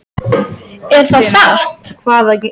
Er það satt?